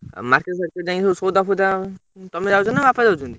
ଆଉ market ଫାର୍କେଟ୍‌ ଯାଇଁ ସବୁ ସଉଦା ଫଉଦା ତମେ ଯାଉଛ ନା ବାପା ଯାଉଛନ୍ତି?